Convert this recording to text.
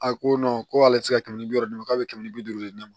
A ko ko ale ti se ka kɛmɛ bi wɔɔrɔ d'a ma k'a be kɛmɛ ni bi duuru di ne ma